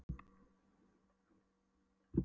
Ragnhildur mín, það er þörf fyrir fleiri heimilislækna.